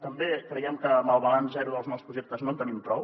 també creiem que amb el balanç zero dels nous projectes no en tenim prou